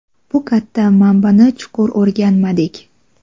bu katta manbani chuqur o‘rganmadik.